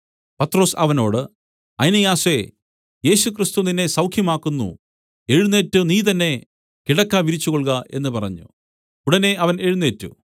പത്രൊസ് അവനോട് ഐനെയാസേ യേശുക്രിസ്തു നിന്നെ സൌഖ്യമാക്കുന്നു എഴുന്നേറ്റ് നീ തന്നെ കിടക്ക വിരിച്ചുകൊൾക എന്നു പറഞ്ഞു ഉടനെ അവൻ എഴുന്നേറ്റ്